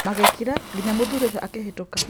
Mgĩkira nginya mũthuri ũcio akĩhĩtũka.